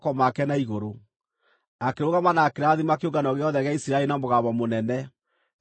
Akĩrũgama na akĩrathima kĩũngano gĩothe gĩa Isiraeli na mũgambo mũnene, akiuga atĩrĩ: